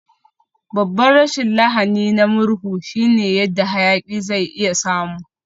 Babban rashin lahani na murhu shine yadda hayaki zai iya samu.